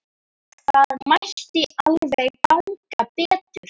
Það mætti alveg ganga betur.